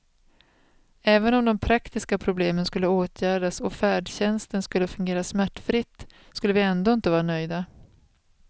Även om de praktiska problemen skulle åtgärdas och färdtjänsten skulle fungera smärtfritt skulle vi ändå inte vara nöjda.